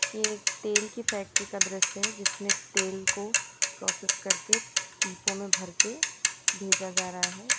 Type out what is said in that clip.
ये तेल की फैक्ट्री का दृश्य जिसमें तेल को प्रोसेस करके पिपो में भर के भेजा जा रहा है।